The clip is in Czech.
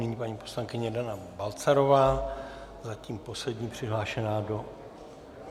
Nyní paní poslankyně Dana Balcarová, zatím poslední přihlášená do...